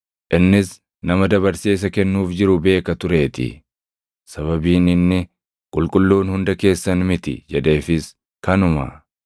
Innis nama dabarsee isa kennuuf jiru beeka tureetii; sababiin inni, “Qulqulluun hunda keessan miti” jedheefis kanuma.